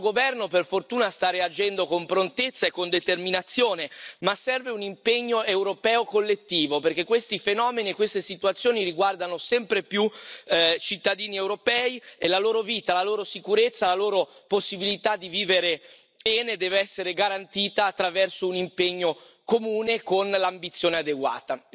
Il nostro governo per fortuna sta reagendo con prontezza e con determinazione, ma serve un impegno europeo collettivo, perché questi fenomeni e queste situazioni riguardano sempre più cittadini europei e la loro vita, la loro sicurezza e la loro possibilità di vivere bene devono essere garantite attraverso un impegno comune con l'ambizione adeguata.